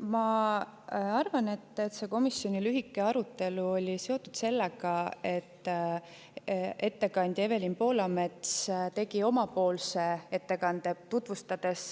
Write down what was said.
Ma arvan, et komisjoni arutelu oli lühike, kuna ettekandja Evelin Poolamets tegi omapoolse ettekande, kus ta tutvustas